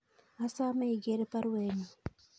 Asome iger baruenyun